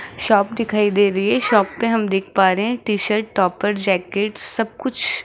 shop दिखाई दे रही है शॉप पे हम देख पा रहे हैं टी शर्ट टॉपर जैकेट सब कुछ--